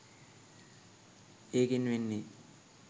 ඒකෙන් වෙන්නේ